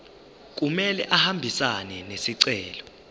kumele ahambisane nesicelo